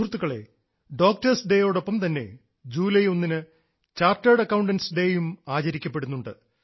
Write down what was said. സുഹൃത്തുക്കളേ ഡോക്ടേഴ്സ് ഡേയോടൊപ്പം തന്നെ ജൂലൈ ഒന്നിന് ചാർട്ടേഡ് അക്കൌണ്ട്സ് ഡേയും ആചരിക്കപ്പെടുന്നുണ്ട്